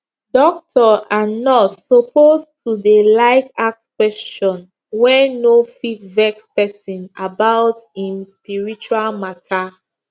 doctor and nurse suppose to dey like ask question wey no fit vex pesin about em spiritual matter